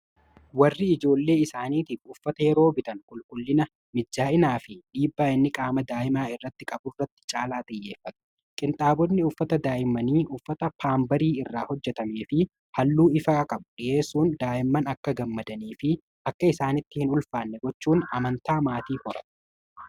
Warri ijoollee isaaniitiif uffata yeroo bitan qulqullina mijjaa'inaa fi dhiibbaa inni qaama daa'imaa irratti qabu duratti caalaa xiyyeeffata. Qinxaabonni uffataa daa'immanii uffata paambarii irraa hojjetamee fi halluu ifa qabu dhi'eessuun daa'imman akka gammadanii fi akka isaanitti hin ulfaanne gochuun amantaa maatii horata.